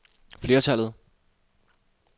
flertallet